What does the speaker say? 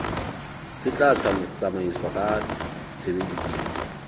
se tla tsamaiswa ka tshebediso